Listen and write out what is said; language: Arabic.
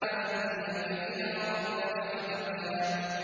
وَأَهْدِيَكَ إِلَىٰ رَبِّكَ فَتَخْشَىٰ